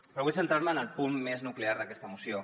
però vull centrar me en el punt més nuclear d’aquesta moció